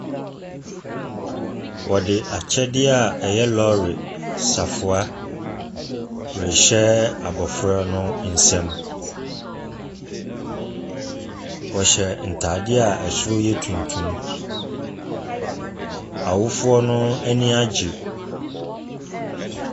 Wɔde akyɛseɛ a ɛyɛ lɔɔre safoa rehyɛ abɔfra no nsam. Wɔhyɛ ntadeɛ a ɛsoro yɛ tuntum. Awofoɔ no ani agye.